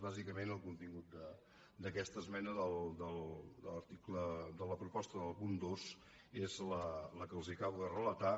bàsicament el contingut d’aquesta esmena de la proposta del punt dos és el que els acabo de relatar